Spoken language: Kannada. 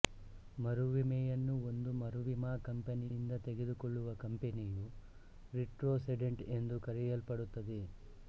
ಮರುವಿಮೆಯನ್ನು ಒಂದು ಮರುವಿಮಾ ಕಂಪನಿಯಿಂದ ತೆಗೆದುಕೊಳ್ಳುವ ಕಂಪನಿಯು ರಿಟ್ರೋಸೆಡೆಂಟ್ ಎಂದು ಕರೆಯಲ್ಪಡುತ್ತದೆ